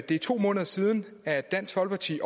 det er to måneder siden at dansk folkeparti